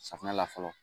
Safunɛ la fɔlɔ